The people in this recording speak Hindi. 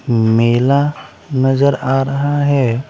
मेला नजर आ रहा हैं।